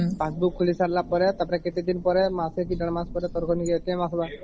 passbook ଖୋଲି ସରିଲା ପରେ ତ ପରେ ମାସେ କି ଦେଢ଼ ମାସେ ପରେ ତାରକେ ଆସିବା